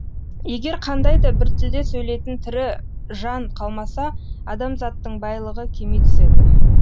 егер қандайда біртілде сөйлейтін тірі жан қалмаса адамзаттың байлығы кеми түседі